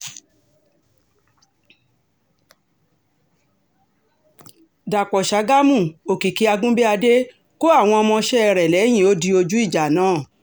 dọ̀pọ̀ ṣàgámù òkìkí àgùnbíàdé kọ àwọn ọmọọṣẹ́ rẹ̀ lẹ́yìn ó di ojú ìjà náà